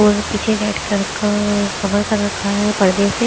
और पीछे red colour का कवर कर रखा है परदे से--